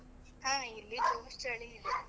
ಹ ಇಲ್ಲಿ ಜೋರ್ ಚಳಿ ಇದೆ.